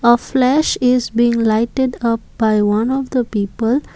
a flash is being lighten up by one of the people.